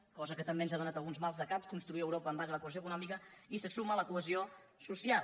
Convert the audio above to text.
cosa que també ens ha donat alguns maldecaps construir europa en base a la cohesió econòmica i se suma la cohesió social